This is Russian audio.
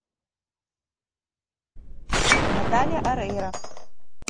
наталия орейро